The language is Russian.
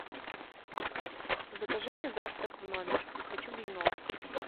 закажи мне завтрак в номер хочу блинов